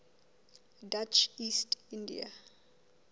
dutch east india